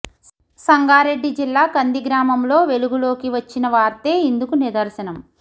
సంగారెడ్డి జిల్లా కంది గ్రామంలో వెలుగులోకి వచ్చిన వార్తే ఇందుకు నిదర్శనం